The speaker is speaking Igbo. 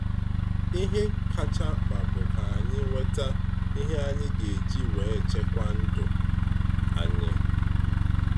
Ihe kacha mkpa bụ ka anyị nweta ihe anyị ga eji wee chekwa ndụ anyị.